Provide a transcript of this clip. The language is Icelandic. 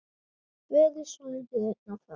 Verið svolítið einn á ferð?